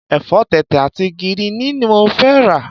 Ẹ̀fọ́ tẹ̀tẹ̀ àti gíríìnì ni mo fẹ́ rà.